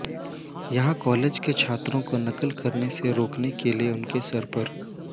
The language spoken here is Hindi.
यहां एक कॉलेज ने छात्रों को नकल करने से रोकने के लिए उनके सिर पर